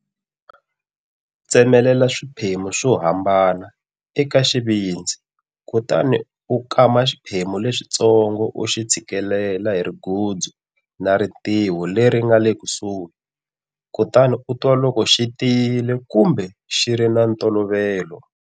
Tsemelela swiphemu swo hambana eka xivindzi kutani u kama xiphemu lexitsongo u xi tshikilela hi rigudzu na ritiho leri nga le kusuhi, kutani u twa loko xi tiyile kumbe xi ri xa ntolovelo.